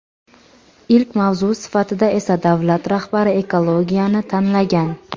Ilk mavzu sifatida esa davlat rahbari ekologiyani tanlagan.